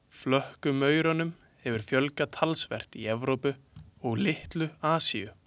Flökkumaurunum hefur fjölgað talsvert í Evrópu og litlu Asíu.